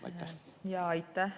Aitäh!